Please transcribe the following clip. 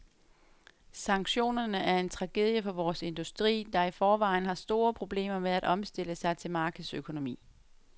Sanktionerne er en tragedie for vores industri, der i forvejen har store problemer med at omstille sig til markedsøkonomi.